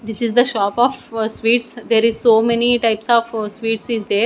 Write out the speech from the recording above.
this is the shop of sweets there is so many types of sweets is there.